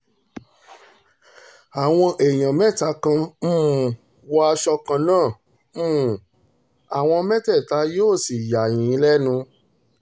àwọn èèyàn mẹ́ta kan um wọ aṣọ kan náà um àwọn mẹ́tẹ̀ẹ̀ta yóò sì yà yín lẹ́nu